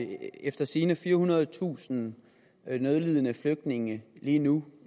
de efter sigende firehundredetusind nødlidende flygtninge lige nu